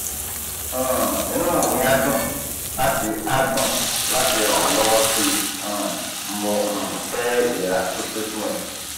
um inú mi á dùn láti á dùn láti ràn ọ́ lọ́wọ́ sí i um mo um fẹ́ ìlera pípé fún ẹ